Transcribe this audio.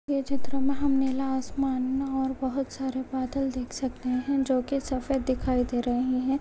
ये चित्र में हम नीला आसमान और बहुत सारे बादल देख सकते है जो की सफेद दिखाई दे रहे है।